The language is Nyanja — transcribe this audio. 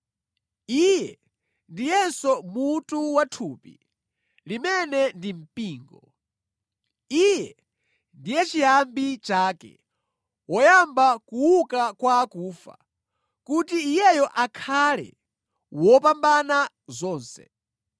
Iye ndiyenso mutu wa thupi, limene ndi mpingo. Iye ndiye chiyambi chake, woyamba kuuka kwa akufa, kuti Iyeyo akhale wopambana zonse.